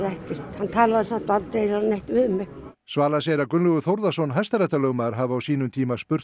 hann talaði samt eiginlega aldrei neitt við mig svala segir að Gunnlaugur Þórðarson hæstaréttarlögmaður hafi á sínum tíma spurt